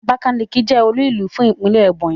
Abakaliki je olúùlú fún Ìpínlẹ̀ Ebonyi